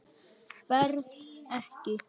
Berð ekki.